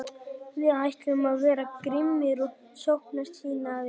Við ætlum að vera grimmir og sóknarsinnaðir.